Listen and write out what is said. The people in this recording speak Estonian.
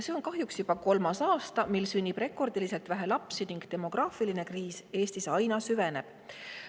See on kahjuks juba kolmas aasta, mil sünnib rekordiliselt vähe lapsi, ning demograafiline kriis Eestis aina süveneb.